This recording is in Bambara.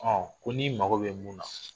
ko ni mago bɛ mun na.